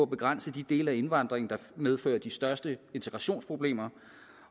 begrænse de dele af indvandringen der medfører de største integrationsproblemer